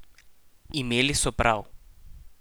Imeli so prav!